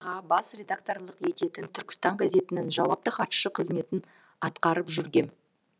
қа бас редакторлық ететін түркістан газетінің жауапты хатшысы қызметін атқарып жүргем